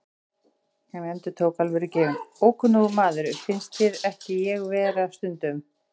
Hann endurtók, alvörugefinn: Ókunnugur maður, finnst þér ekki ég vera stundum?